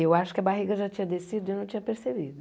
Eu acho que a barriga já tinha descido e eu não tinha percebido.